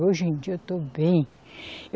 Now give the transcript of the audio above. Hoje em dia eu estou bem.